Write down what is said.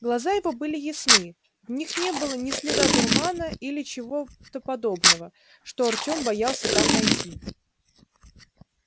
глаза его были ясны в них не было ни следа дурмана или чего-то подобного что артём боялся там найти